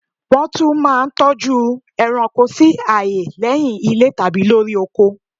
Nwọ́n tún mà n toju eranko si aaye lé̩hiń ilé tàbí lori oko